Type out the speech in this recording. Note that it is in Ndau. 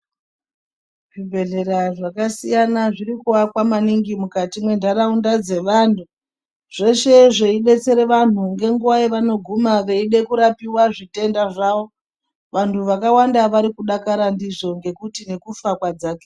Zvibhedhleya zvakasiyana zvirikuakwa maningi mukati mwentaraunda dzevantu zveshe zveidetsere vantu ngenguwa yavanoguna veide kurapiwa zvitenda zvavo, vantu vakawanda vari kudakara ndizvo ngekuti nekufa kwadzakira.